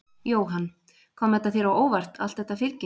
Jóhann: Kom þetta þér á óvart allt þetta fylgi?